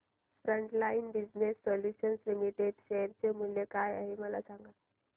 frontline business solutions limited share चे मूल्य काय आहे हे सांगा